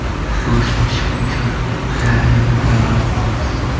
Go‘sht pishguncha garnirni tayyorlab olamiz.